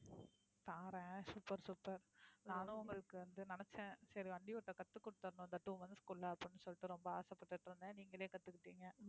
பாரேன் super super நானும் உங்களுக்கு வந்து நினச்சேன் சரி வண்டி ஓட்ட கத்து குடுத்திடணும் இந்த two months க்குள்ள அப்படின்னு சொல்லிட்டு ரொம்ப ஆசைபட்டுட்டு இருந்தேன். நீங்களே கத்துக்கிட்டீங்க.